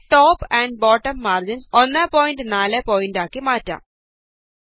ഞാന് top and bottom margins 14പിടി ആക്കി മാറ്റാം